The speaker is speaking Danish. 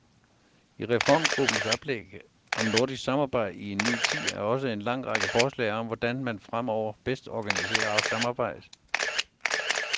I reformgruppens oplæg om nordisk samarbejde i en ny tid er også en lang række forslag om hvordan man fremover bedst organiserer samarbejdet.